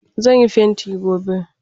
Zan yi fenti gobe.